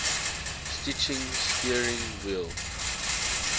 stitching steering wheel